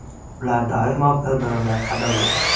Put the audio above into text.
Ular doimo bir-birini qadrlagan.